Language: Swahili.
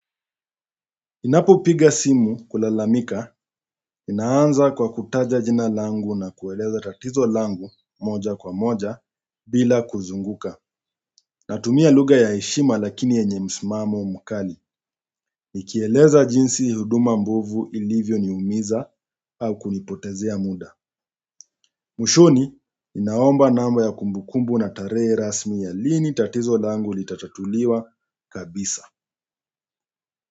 Ninapo piga simu kulalamika, inaanza kwa kutaja jina langu na kueleza tatizo langu moja kwa moja bila kuzunguka. Natumia lugha ya heshima lakini yenye msimamo mkali, nikieleza jinsi huduma mbovu ilivyo ni umiza au kunipotezea muda. Mwishoni ninaomba namba ya kumbukumbu na tarehe rasmi ya lini tatizo langu ilitatatuliwa kabisa.